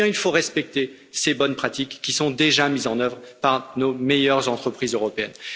alors il faut respecter ces bonnes pratiques, qui sont déjà mises en œuvre par nos meilleures entreprises européennes.